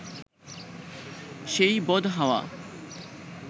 সেই বদ হাওয়া